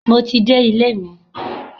Mo ti dé ilé mi.